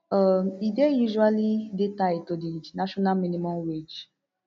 um e dey usually dey tied to di national minimum wage